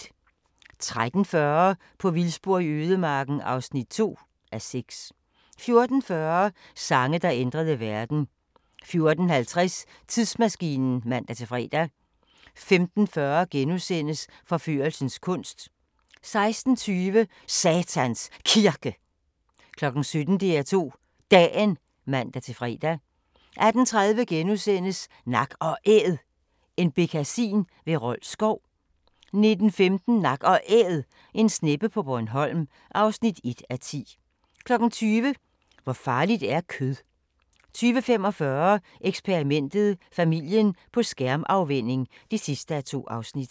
13:40: På vildspor i ødemarken (2:6) 14:40: Sange, der ændrede verden 14:50: Tidsmaskinen (man-fre) 15:40: Forførelsens kunst * 16:20: Satans Kirke 17:00: DR2 Dagen (man-fre) 18:30: Nak & Æd – en bekkasin ved Rold Skov * 19:15: Nak & Æd – en sneppe på Bornholm (1:10) 20:00: Hvor farligt er kød? 20:45: Eksperimentet: Familien på skærmafvænning (2:2)